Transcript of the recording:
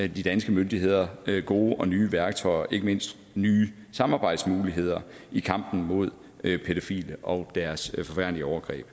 de danske myndigheder gode og nye værktøjer og ikke mindst nye samarbejdsmuligheder i kampen mod pædofile og deres forfærdelige overgreb